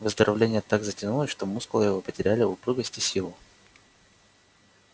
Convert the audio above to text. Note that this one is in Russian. выздоровление так затянулось что мускулы его потеряли упругость и силу